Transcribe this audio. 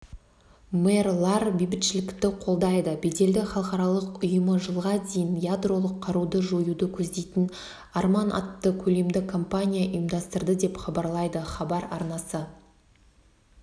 мэрлар бейбітшілікті қолдайды беделді халықаралық ұйымы жылға дейін ядролық қаруды жоюды көздейтін арман атты көлемді кампания ұйымдастырды деп хабарлайды хабар арнасы